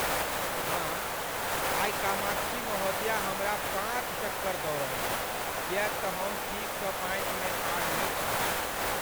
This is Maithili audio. माँ, आइ कामाक्षी महोदया हमरा पाँच चक्कर दौड़ौलनि किएक तँ हम ठीकसँ पाँतिमे ठाढ़ नहि छलहुँ।